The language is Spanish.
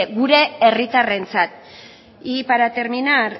gure herritarrentzat y para terminar